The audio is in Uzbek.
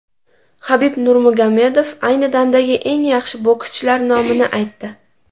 Habib Nurmagomedov ayni damdagi eng yaxshi bokschilar nomini aytdi.